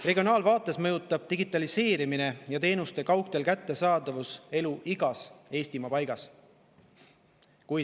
Regionaalvaates mõjutab digitaliseerimine ja teenuste kättesaadavus kaug teel elu igas Eestimaa paigas.